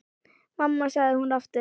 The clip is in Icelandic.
Mamma, sagði hún aftur.